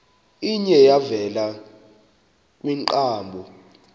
iye yavela kwiinkqubo